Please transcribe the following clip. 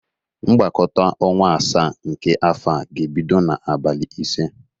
Mgbakọta ọnwa asaa nke afọ a ga-ebido n'abali ise.